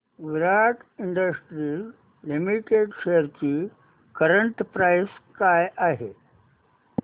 विराट industries limited shares ची current price काय आहे